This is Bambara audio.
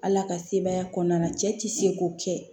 Ala ka sebaya kɔnɔna na cɛ ti se k'o kɛ